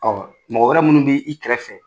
Ɔ mɔgɔ wɛrɛ minnu bi i kɛrɛfɛ